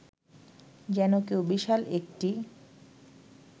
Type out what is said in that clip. যেন কেউ বিশাল একটি